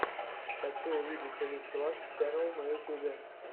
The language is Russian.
хочу увидеть рич лак ченнал на ютьюбе